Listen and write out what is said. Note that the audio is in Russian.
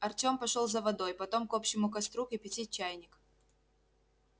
артём пошёл за водой потом к общему костру кипятить чайник